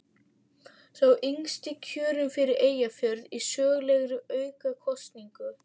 Sá yngsti kjörinn fyrir Eyjafjörð í sögulegri aukakosningu.